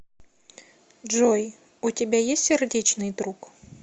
джой у тебя есть сердечный друг